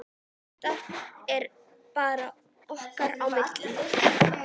Þetta er bara okkar á milli.